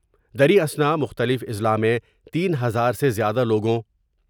دریں اثنا مختلف اضلاع میں تین ہزار سے زیادہ لوگوں